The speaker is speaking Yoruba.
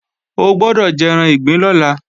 O gbọ́dọ̀ jẹran ìgbín lọ́la!